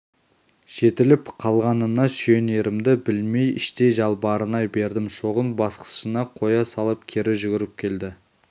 жетіліп қалғанына сүйінерімді білмей іштей жалбарына бердім шоғын басқышына қоя салып кері жүгіріп келді